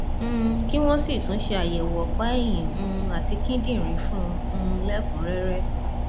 um kí wọn sì tún ṣe àyẹwò ọpá ẹyìn um àti kíndìnrín fún un um lẹkùnúnrẹrẹ